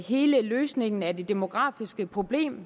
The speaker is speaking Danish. hele løsningen af det demografiske problem